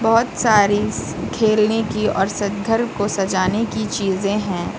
बहोत सारी खेलने की और घर को सजाने की चीजें हैं।